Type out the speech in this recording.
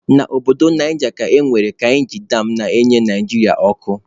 Na Obodo Naija ka e nwere kainji dam na-enye Naịjirịa ọkụ.